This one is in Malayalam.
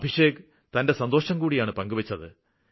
അഭിഷേക് തന്റെ സന്തോഷംകൂടിയാണ് പങ്കുവെച്ചത്